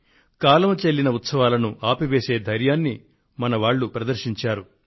కాలం చెల్లిన ఉత్సవాలను ఆపివేసే ధైర్యాన్ని మనవాళ్లు ప్రదర్శించారు